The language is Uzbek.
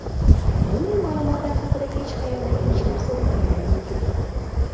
Bunday ma’lumotlar haqida hech qayerda hech narsa o‘qiganim yo‘q.